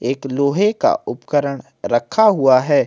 एक लोहे का उपकरण रखा हुआ है।